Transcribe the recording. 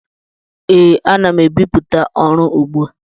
Ee, ana m ebipụta ọrụ ugbu a.